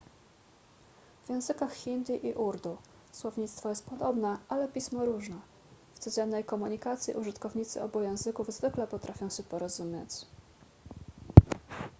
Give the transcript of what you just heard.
w językach hindi i urdu słownictwo jest podobne ale pismo różne w codziennej komunikacji użytkownicy obu języków zwykle potrafią się porozumieć